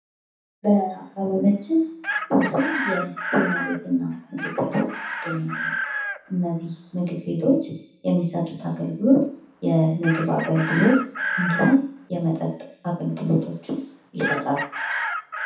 በአካባቢያችን ብዙ የቡና ቤት እና ምግብ ቤቶች ይገኛሉ። እነዚህ ምግብ ቤቶች የሚሰጡት አገልግሎት የምግብ አገልግሎት እንዲሁም፤ የመጠጥ አገልግሎቶችን ይሰጣሉ።